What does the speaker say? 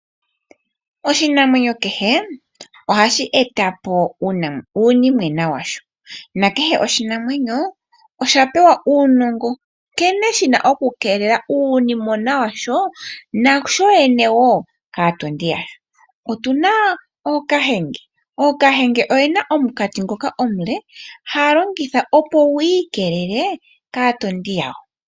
Oshinamwenyo kehe ohashi eta po uunimwena washo, na kehe oshinamwenyo osha pewa uunongo nkene shi na okukeelela uunimwena washo nashoyene wo kaatondi. Otu na ookahenge, ookahenge oye na omunkati ngoka omule haya longitha opo gu ikelele kaatondi yago.